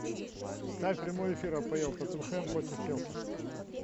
ставь прямой эфир апл тоттенхэм против челси